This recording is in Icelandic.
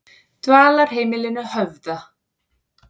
Dvalarheimilinu Höfða